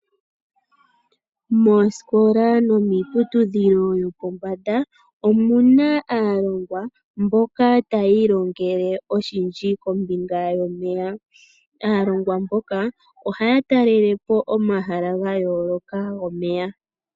Moosikola no miiputudhilo yo pombanda omuna aalongwa mboka taya ilongele oshindji kombinga yomeya . Aalongwa mboka ohaya talelepo omahala ohaya ta lelepo omahala ga yooloka gomeya.